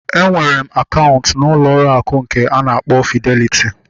Enwere m akaụntụ n'ụlọ akụ nke nke a na-akpọ Fideliti